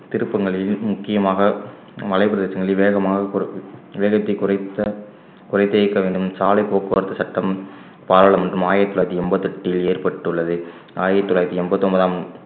திருப்பங்கில் முக்கியமாக மலைப்பிரதேசங்களில் வேகமாக குறை~ வேகத்தை குறைத்த குறை தீர்க்க வேண்டும் சாலை போக்குவரத்து சட்டம் பாராளுமன்றம் ஆயிரத்தி தொள்ளாயிரத்தி எண்பத்தி எட்டில் ஏற்பட்டுள்ளது ஆயிரத்தி தொள்ளாயிரத்தி எண்பத்தி ஒன்பதாம்